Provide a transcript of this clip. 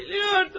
Bilirdim.